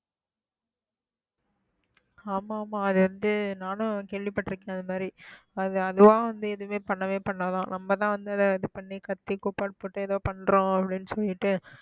ஆமா ஆமா அது வந்து நானும் கேள்விப்பட்டிருக்கேன் அந்த மாதிரி அது அதுவா வந்து எதுவுமே பண்ணவே பண்ணாதாம் நம்மதான் வந்து அதை இது பண்ணி கத்தி கூப்பாடு போட்டு ஏதோ பண்றோம் அப்படின்னு சொல்லிட்டு